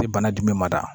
Bɛ bana jumɛn mada